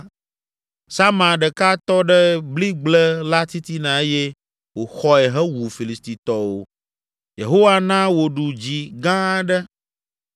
Sama ɖeka tɔ ɖe bligble la titina eye wòxɔe hewu Filistitɔwo. Yehowa na wòɖu dzi gã aɖe.